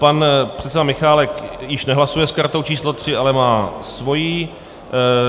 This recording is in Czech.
Pan předseda Michálek již nehlasuje s kartou číslo 3, ale má svoji.